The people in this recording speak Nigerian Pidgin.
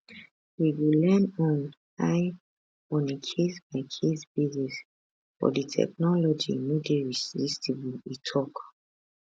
we go lean on [ai] on a casebycase basis but di technology no dey resistible e tok